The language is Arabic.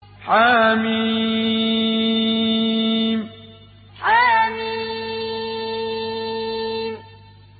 حم حم